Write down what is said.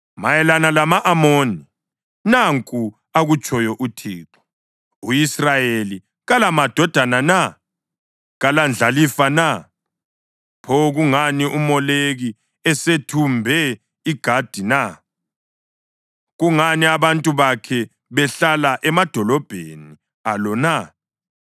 Mayelana lama-Amoni: Nanku akutshoyo uThixo: “U-Israyeli kalamadodana na? Kalandlalifa na? Pho kungani uMoleki esethumbe iGadi na? Kungani abantu bakhe behlala emadolobheni alo na?